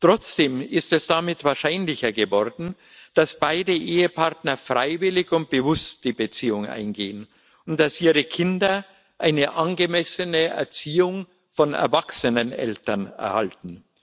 Trotzdem ist es damit wahrscheinlicher geworden, dass beide Ehepartner freiwillig und bewusst die Beziehung eingehen und dass ihre Kinder eine angemessene Erziehung von erwachsenen Eltern erhalten.